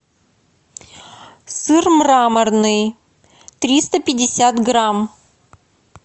сыр мраморный триста пятьдесят грамм